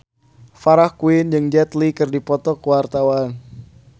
Farah Quinn jeung Jet Li keur dipoto ku wartawan